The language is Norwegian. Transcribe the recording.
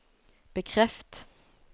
bekreft